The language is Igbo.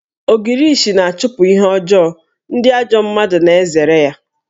Ogirishi na-achụpụ ihe ọjọọ, ndị ajọ mmadụ na-ezere ya